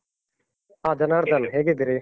ಹ ಜನಾರ್ಧನ್, ಹೇಗಿದ್ದೀರಿ?